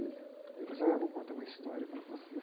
Ele falou assim, olha, eu vou contar uma história para vocês.